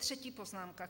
Třetí poznámka.